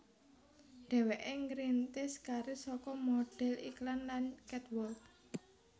Dhéwéké ngrintis karir saka modhél iklan lan catwalk